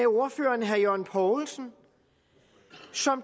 ordfører herre jørgen poulsen